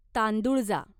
तांदुळजा